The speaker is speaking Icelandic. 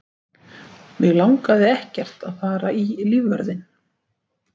Mig langaði ekkert að fara í lífvörðinn.